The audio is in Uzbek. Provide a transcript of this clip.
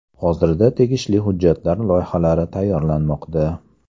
Hozirda tegishli hujjatlar loyihalari tayyorlanmoqda.